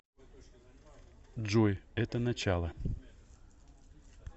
джой это начало